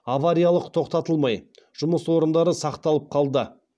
авариялық тоқтатылмай жұмыс орындары сақталып қалды